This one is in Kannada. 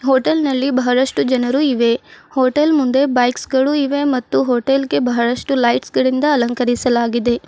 ಹೋಟೆಲ್ ನಲ್ಲಿ ಬಹಳಷ್ಟು ಜನರು ಇವೆ ಹೋಟೆಲ್ ಮುಂದೆ ಬೈಕ್ಸ್ ಗಳು ಇವೆ ಮತ್ತು ಹೋಟೆಲ್ ಗೆ ಬಹಳಷ್ಟು ಲೈಟ್ಸ್ ಗಳಿಂದ ಅಲಂಕರಿಸಲಾಗಿದೆ.